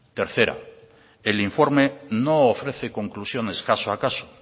tercera el informe no ofrece conclusiones caso a caso